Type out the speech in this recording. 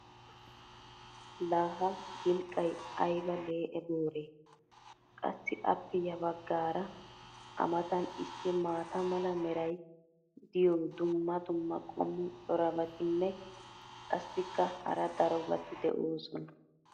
Laa ha gilqqay ayba lee'e booree! Qassi appe ya bagaara a matan issi maata mala meray diyo dumma dumma qommo corabatinne qassikka hara darobati de'oosona